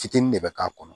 Fitini de bɛ k'a kɔnɔ